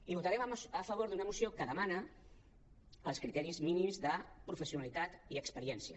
i votarem a favor d’una moció que demana els criteris mínims de professionalitat i experiència